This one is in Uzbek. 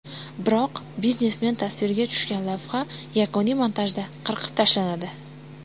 Biroq biznesmen tasvirga tushgan lavha yakuniy montajda qirqib tashlanadi.